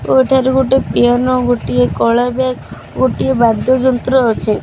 ଏଠାରେ ଗୋଟିଏ ପେନ ଗୋଟିଏ କଳା ବ୍ୟାଗ୍ ଗୋଟିଏ ବାଦ୍ୟ ଯନ୍ତ୍ର ଅଛି।